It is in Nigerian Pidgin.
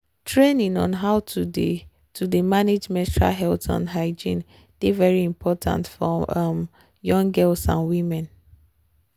training on how to dey to dey manage menstrual health and hygiene dey very important for um young girls and women.